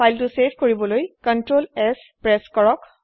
file save কৰিবলৈ Ctrl S press কৰক